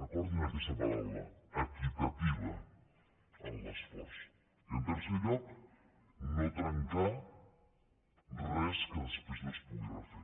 recordin aquesta paraula equitativa en l’esforç i en tercer lloc no trencar res que després no es pugui refer